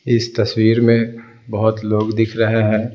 इस तस्वीर में बहुत लोग दिख रहे हैं।